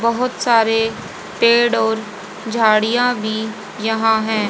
बहोत सारे पेड़ और झाड़ियां भी यहां हैं।